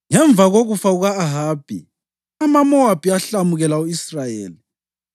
Ngemva kokufa kuka-Ahabi, amaMowabi ahlamukela u-Israyeli.